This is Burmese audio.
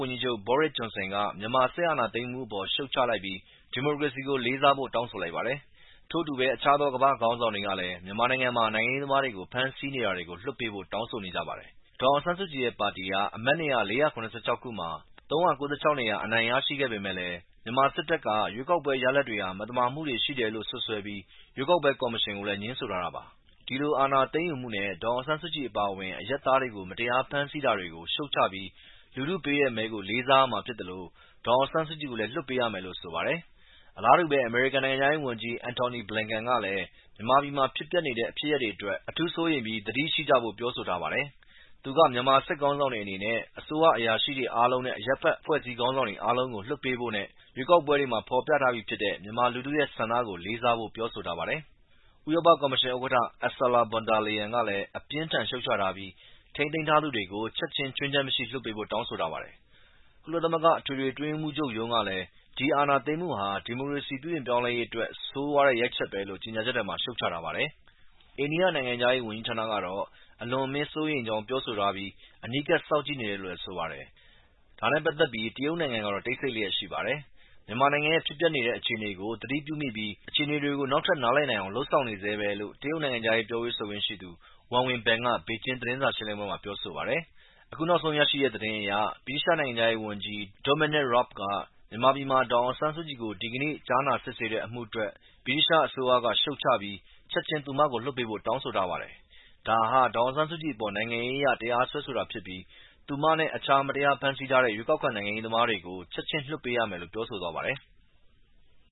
ဝန်ကြီးချုပ် Boris Johnson က မြန်မာစစ်အာဏာသိမ်းမှုအပေါ် ရှုတ်ချလိုက်ပြီး ဒီမိုကရေစီကိုလေးစားဖို့တောင်းဆိုလိုက်ပါတယ်။ ထို့အတူပဲ အခြားသော ကမ္ဘာ့ခေါင်းဆောင်တွေကလည်း မြန်မာနိုင်ငံမှာ နိုင်ငံရေးသမားတွေကို ဖမ်းဆီးနေတာတွေကို လွှတ်ပေးဖို့တောင်းဆိုနေကြပါတယ်။ ဒေါ်အောင်ဆန်းစုကြည်ရဲ့ ပါတီဟာ အမတ်နေရာ ၄၇၆ ခုမှာ ၃၉၆ နေရာ အနိုင်ရရှိခဲ့ပေမယ့်လည်း စစ်တပ်က ရွေးကောက်ပွဲရလဒ်တွေဟာ မသမာမှုတွေရှိတယ်လို့စွပ်စွဲပြီး ရွေးကောက်ပွဲကော်မရှင်ကိုလည်း ငြင်းဆိုထားတာပါ။ ဒီအာဏာသိမ်းယူမှုနဲ့ဒေါ်အောင်ဆန်းစုကြည်အပါအဝင် အရပ်သားတွေကို မတရာဖမ်းဆီးတာတွေကို ရှုတ်ချပြီး လူထုပေးတဲ့မဲကို လေးစားရမှာဖြစ်သလို ဒေါ်အောင်ဆန်းစုကြည်ကိုလည်း လွှတ်ပေးရမယ်လို့ ဝန်ကြီးချုပ် ဂျွန်ဆင်က သူ့ရဲ့ တွစ်တာမှာ ရေးသားထားပါတယ်။ အလားတူပဲ အမေရိကန်နိုင်ငံခြားရေးဝန်ကြီး Anthony Blinken ကလည်း မြန်မာပြည်မှာဖြစ်ပျက်နေတဲ့ ဖြစ်ရပ်တွေအတွက် အထူးစိုးရိမ်ပြီး သတိရှိကြဖို့ပြောဆိုထားပါတယ်။ သူက မြန်မာစစ်ခေါင်းဆောင်တွေအနေနဲ့မြန်မာအစိုးရ အရာရှိတွေအားလုံးနဲ့ အရပ်ဘက်အဖွဲ့အစည်းခေါင်းဆောင်တွေအားလုံးကို လွှတ်ပေးဖို့နဲ့ ရွေးကောက်ပွဲတွေမှာ ဖော်ပြထားပြီးဖြစ်တဲ့ မြန်မာလူထုရဲ့ဆန္ဒကို လေးစားဖို့ ပြောဆိုထားပါတယ်။ ဥရောပ ကော်မရှင်ဥက္ကဌ Ursula Von Der Leyen ကလည်း အပြင်းအထန် ရှုတ်ချထားပြီး ထိန်းသိမ်းထားသူတွေကို ချက်ချင်း ခြွင်းချက်မရှိပြန်လွှတ်ပေးဖို့တောင်းဆိုထားပါတယ်။ ကုလသမဂ္ဂ အထွေထွေအတွင်းရေးမှူးချုပ်ရုံးမှာလည်း ဒီအာဏာသိမ်းမှုဟာ ဒီမိုကရေစီပြုပြင်ပြောင်းလဲရေးအတွက် ဆိုးရွားတဲ့ ရိုက်ချက်ပဲလို့ ကြေညာချက်ထဲမှာ ရှုတ်ချထားပါတယ်။ အိန္ဒိယနိုင်ငံခြားရေးဝန်ကြီးဌာနကတော့ အလွန်အမင်းစိုးရိမ်ကြောင်းပြောဆိုထားပြီး အနီးကပ်စောင့်ကြည့်နေတယ်လို့လည်းဆိုပါတယ်။ ဒါနဲ့ပတ်သက်ပြီး တရုတ်နိုင်ငံကတော့ တိတ်ဆိတ်လျက်ရှိနေတယ်လို့ဆိုပါတယ်။ မြန်မာနိုင်ငံရဲ့ ဖြစ်ပျက်နေတဲ့ အခြေအနေကို သတိပြုမိပြီး အခြေအနေကို နောက်ထပ်နားလည်နိုင်အောင် လုပ်ဆောင်နေဆဲပဲလို့ တရုတ်နိုင်ငံခြားရေးပြောခွင့်ရှိသူ Wang Wenbin က ဘေကျင်းသတင်းစာရှင်းလင်းပွဲမှာ ပြောပါတယ်။ အခုနောက်ဆုံးရရှိတဲ့ သတင်းအရ ဗြိတိသျှ နိုင်ငံခြားရေးဝန်ကြီး Dominic Raab က မြန်မာပြည်မှာ ဒေါ်အောင်ဆန်းစုကြည်ကို ဒီကနေ့ကြားနာစစ်ဆေးတဲ့ အမှုအတွက် ဗြိတိသျှအစိုးရက ရှုတ်ချပြီး ချက်ချင်း သူမကို ပြန်လွှတ်ပေးဖို့တောင်းဆိုထားပါတယ်။ ဒါဟာ ဒေါ်အောင်ဆန်းစုကြည်အပေါ် နိုင်ငံရေးအရ တရားစွဲဆိုတာဖြစ်ပြီး သူမနဲ့အခြားမတရားဖမ်းဆီးထားတဲ့ ရွေးကောက်ခံနိုင်ငံရေးသမားတွေကို ချက်ချင်းလွှတ်ပေးရမယ်လို့ပြောဆိုသွားပါတယ်။